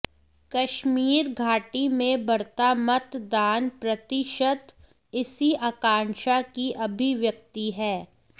कश्मीर घाटी में बढ़ता मतदान प्रतिशत इसी आकांक्षा की अभिव्यक्ति है